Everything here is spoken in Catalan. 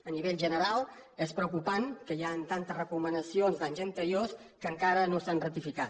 a nivell general és preocupant que hi hagin tantes recomanacions d’anys anteriors que encara no s’han rectificat